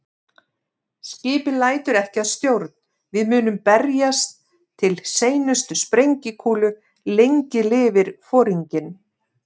Skipið lætur ekki að stjórn, við munum berjast til seinustu sprengikúlu- lengi lifi Foringinn